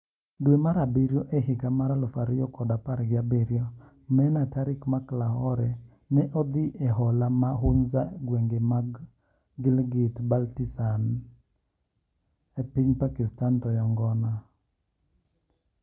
Dwe mar abiriyo ehiga mar alufu kod apar gi abiriyo Meenah Tariq mak Lahore ne odhi eholo ma Hunza egweng ma Gilgit -Baltistan epiny Pakistan toyo ngona.